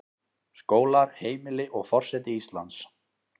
Skólar, heimili, og forseti Íslands.